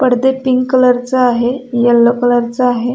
पडदे पिंक कलरचा आहे यल्लो कलरचा आहे.